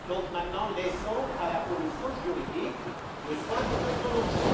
Maintenant laissons à la commission juridique le soin de se prononcer.